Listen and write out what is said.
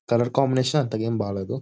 Colour combination అంతగా ఏం బాగలేదు.